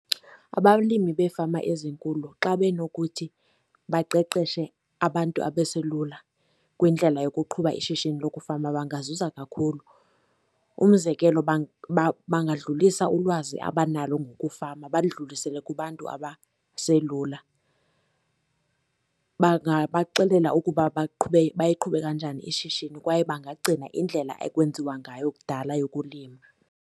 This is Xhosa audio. Abalimi beefama ezinkulu xa benokuthi baqeqeshe abantu abaselula kwindlela yokuqhuba ishishini lokufama bangazuza kakhulu. Umzekelo, bangadlulisa ulwazi abanalo ngokufama, baludlulise kubantu abaselula. Bangabaxelela ukuba baliqhube kanjani ishishini kwaye bangaphucula indlela okwenziwa ngayo kudala yokulima.